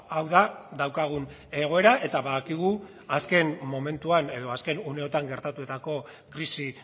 hau da daukagun egoera eta badakigu azken momentuan edo azken uneotan gertatutako krisi